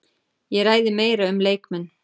Ég ræði meira um leikmenn.